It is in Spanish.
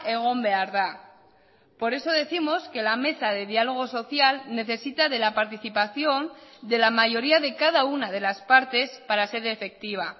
egon behar da por eso décimos que la mesa de diálogo social necesita de la participación de la mayoría de cada una de las partes para ser efectiva